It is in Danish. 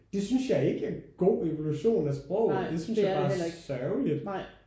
Det synes jeg ikke er en god evolution af sproget det synes jeg bare er sørgeligt